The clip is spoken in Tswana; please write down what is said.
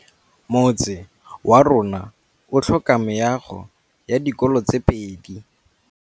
Motse warona o tlhoka meago ya dikolô tse pedi.